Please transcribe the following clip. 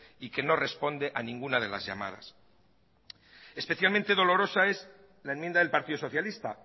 y que no responde a ninguna de las llamadas especialmente dolorosa es la enmienda del partido socialista